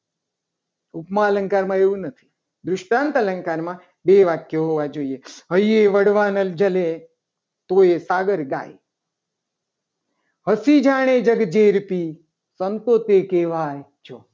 ઉપમા અલંકાર માં એવું નથી. દૃષ્ટાંત અલંકાર માં બે વાક્યો હોવા જોઈએ. અહીંયા વડવાનળ જલે તો એ ફાદર ગાય. હંસી જાને જગ ઝેરપી સંતો તે કહેવાય.